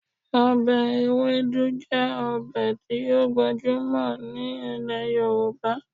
Ọbẹ Ewedu jẹ́ ọbẹ̀ tí ó gbajúmọ̀ ní ilẹ̀ Yorùbá